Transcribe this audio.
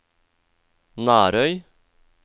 Nærøy